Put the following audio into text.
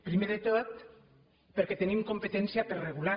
primer de tot perquè tenim competència per regular